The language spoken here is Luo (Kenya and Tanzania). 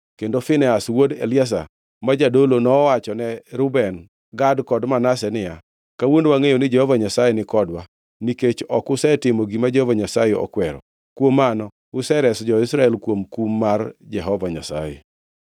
Kendo Finehas wuod Eliazar ma jadolo, nowachone Reuben, Gad kod Manase niya, “Kawuono wangʼeyo ni Jehova Nyasaye nikodwa, nikech ok usetimo gima Jehova Nyasaye okwero. Kuom mano usereso jo-Israel kuom kum mar Jehova Nyasaye.”